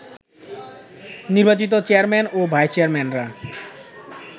নির্বাচিত চেয়ারম্যান ও ভাইস চেয়ারম্যানরা